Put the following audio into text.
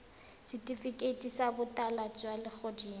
setifikeiti sa botala jwa legodimo